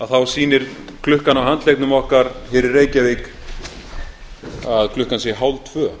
þá sýnir klukkan á handleggnum okkar hér í reykjavík að klukkan sé hálftvö